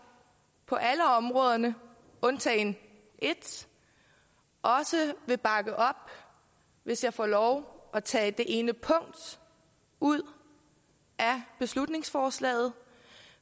på alle områderne undtagen et også vil bakke op hvis jeg får lov til at tage det ene punkt ud af beslutningsforslaget